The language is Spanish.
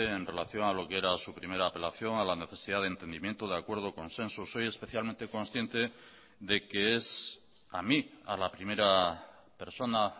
en relación a lo que era su primera apelación a la necesidad de entendimiento de acuerdo consensos soy especialmente consciente de que es a mí a la primera persona